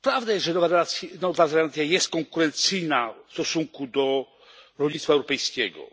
Prawdą jest, że Nowa Zelandia jest konkurencyjna w stosunku do rolnictwa europejskiego,